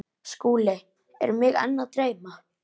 SKÚLI: Er mig enn að dreyma?